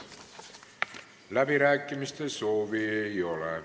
Läbirääkimiste soovi ei ole.